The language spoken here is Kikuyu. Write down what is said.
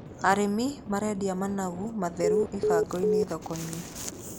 Arĩmi marendia managu matheru ibango-inĩ thoko-inĩ.